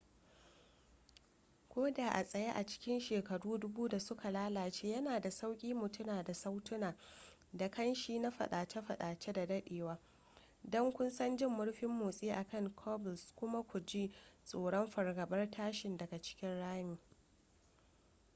ko da a tsaye a cikin shekaru dubu da suka lalace yana da sauƙi mu tuna da sautuna da ƙanshi na fadace-fadace da dadewa don kusan jin murfin motsi a kan cobbles kuma ku ji tsoron fargabar tashin daga cikin ramin